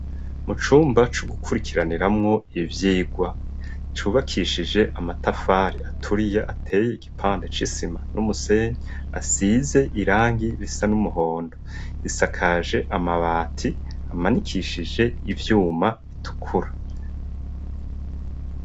mu cumba co gukurikiraniramwo ivyigwa cubakishije amatafari aturiye ateye igipande c'isima n'umusenyi asize irangi bisa n'umuhondo isakaje amabati amanikishije ivyuma bitukura